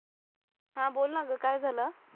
हा बोल ना ग काय झाल.